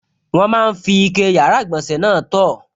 Wọ́n máa n fi ike yàrá-ìgbọ̀nsẹ̀ náà tọ̀